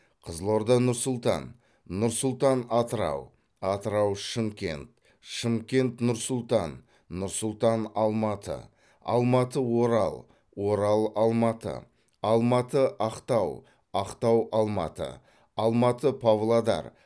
қызылорда нұр сұлтан нұр сұлтан атырау атырау шымкент шымкент нұр сұлтан нұр сұлтан алматы алматы орал орал алматы алматы ақтау ақтау алматы алматы павлодар